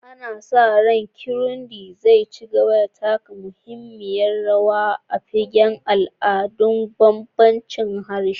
Ana sa ran Kirundi zai ci gaba da taka muhimmiyar rawa a fagen al'adu da bambancin harshe.